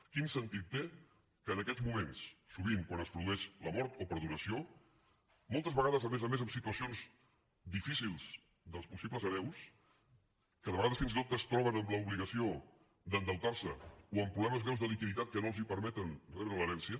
quin sentit té que en aquests moments sovint quan es produeix la mort o per donació moltes vegades a més a més en situacions difícils dels possibles hereus que de vegades fins i tot es troben amb l’obligació d’endeutarse o amb problemes greus de liquiditat que no els permeten rebre l’herència